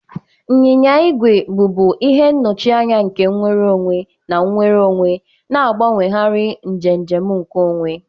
nyịnya igwe bụbu ihe nnọchianya nke nnwere onwe na nnwere onwe, na-agbanwegharị njem njem nke onwe.